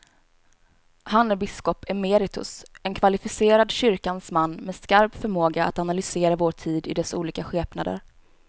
Han är biskop emeritus, en kvalificerad kyrkans man med skarp förmåga att analysera vår tid i dess olika skepnader.